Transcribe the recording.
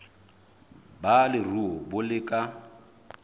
ba leruo bo le ka